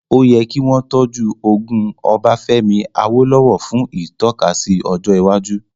Ó yẹ kí wọ́n tọ́jú ogún Ọbafẹ́mi Awólówọ̀ fún ìtọ́kasí ọjọ́ iwájú